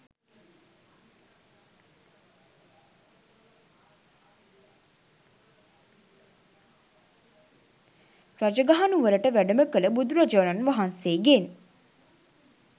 රජගහ නුවරට වැඩම කළ බුදුරජාණන් වහන්සේගෙන්